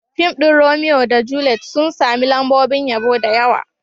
Fim ɗin Romeo da Juliet sun sami lambobin yabo da yawa.